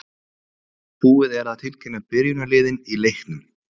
Búið er að tilkynna byrjunarliðin í leiknum.